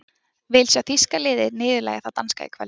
Vil sjá þýska liðið niðurlægja það danska í kvöld.